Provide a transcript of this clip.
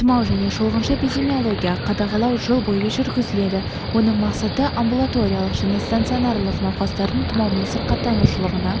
тұмау және шолғыншы эпидемиологиялық қадағалау жыл бойы жүргізіледі оның мақсаты амбулаториялық және стационарлық науқастардың тұмаумен сырқаттанушылығына